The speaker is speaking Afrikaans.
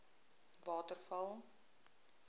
waterval